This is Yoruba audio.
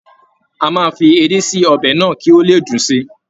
A máa fi edé sí ọbẹ̀ náà kí ó le dùn si.